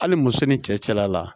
Hali muso ni cɛla la